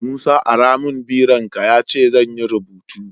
Musa ara mun biron ka yace zanyi rubutu